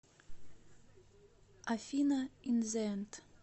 афина ин зэ энд